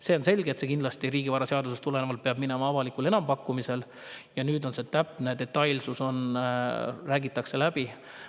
See on selge, et riigivaraseaduse järgi peab see kindlasti minema avalikule enampakkumisele, ja nüüd räägitakse täpsed detailid läbi.